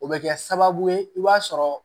O bɛ kɛ sababu ye i b'a sɔrɔ